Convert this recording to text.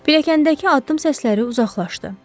Piləkkəndəki addım səsləri uzaqlaşdı.